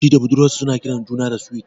Shi da budurwar sa su na kiran juna da "Sweet ".